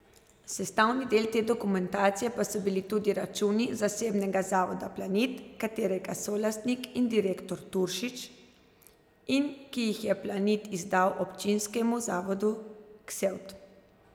Sestavni del te dokumentacije pa so bili tudi računi zasebnega zavoda Planit, katerega solastnik in direktor Turšič, in ki jih je Planit izdal občinskemu zavodu Ksevt.